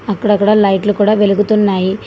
అక్కడ అక్కడ లైట్లు కూడా వెలుగుతున్నాయి.